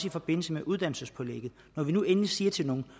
i forbindelse med uddannelsespålægget når vi nu endelig siger til den